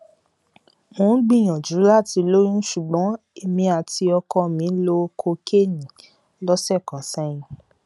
mo ń gbìyànjú láti lóyún ṣùgbọn èmi àti ọkọ mi lo kokéènì lọsẹ kan sẹyìn